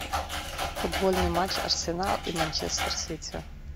футбольный матч арсенал и манчестер сити